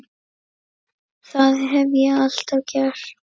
Það hef ég alltaf gert